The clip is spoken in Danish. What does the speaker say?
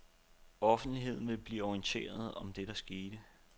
Offentligheden vil blive orienteret om det skete.